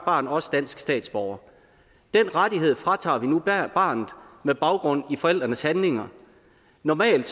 barn også dansk statsborger den rettighed fra tager vi nu barnet med baggrund i forældrenes handlinger normalt